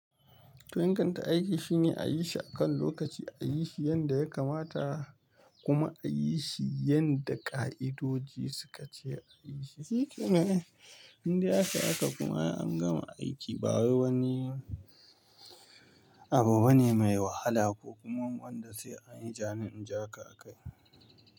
To in kan ta aiki shine a yi shi akan lokaci, a yi shi yanda ya kamata kuma a yi shi yanda ƙa'idoji suka ce a yi shi. Shikenan ai in dai aka haka kuma ai an gama aiki ba wai wani abu bane mai wahala ko kuma wanda sai an yi jani in jaka a kai.